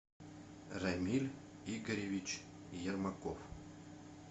рамиль игоревич ермаков